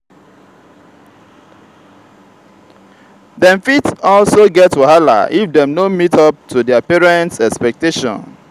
dem fit also get wahala if dem no meet up to their parents expectation